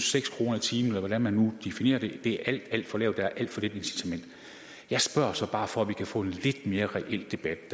seks kroner i timen eller hvordan man nu definerer det er alt alt for lavt er alt for lidt incitament jeg spørger så bare for at vi kan få en lidt mere reel debat